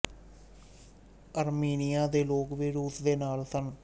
ਆਰਮੀਨੀਆ ਦੇ ਲੋਕ ਵੀ ਰੂਸ ਦੇ ਨਾਲ਼ ਸਨ